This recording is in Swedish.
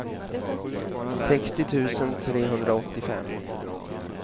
sextio tusen trehundraåttiofem